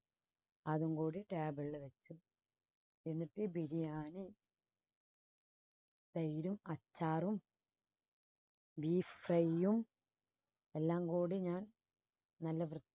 അതും കൂടി table ില് വെച്ച് എന്നിട്ട് ബിരിയാണി തൈരും അച്ചാറും beef fry യും എല്ലാം കൂടി ഞാൻ നല്ല വൃ